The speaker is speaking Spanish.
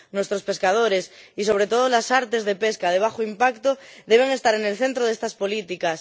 Nuestros pescadores y, sobre todo, las artes de pesca de bajo impacto deben estar en el centro de estas políticas.